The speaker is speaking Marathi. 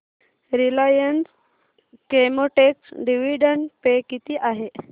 रिलायन्स केमोटेक्स डिविडंड पे किती आहे